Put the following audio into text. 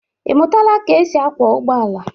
Ị mụtaala ka e si akwọ ụgbọala?